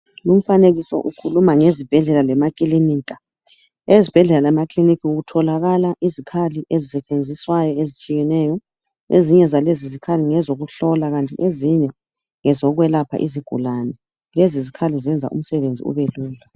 Lumfanekiso ukhuluma ngezibhedlela lema kilinika . Ezibhedlela lemakiliniki kutholakala izikhali esisetshenziswayo lezitshiyeneyo .Ezinye zalezozikhali ngezokuhlola kanti ezinye ngezokwelapha izigulane lezo zikhali zenza umsebenzi ubelula .